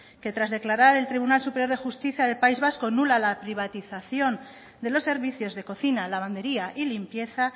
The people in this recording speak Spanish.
que tras declarar el tribunal superior de justicia del país vasco nula la privatización de los servicios de cocina lavandería y limpieza